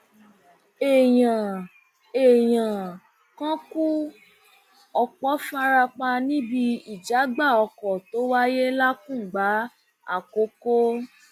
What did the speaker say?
èèyàn èèyàn kan kú ọpọ fara pa níbi ìjàgbá ọkọ tó wáyé làkùngbà àkọkọ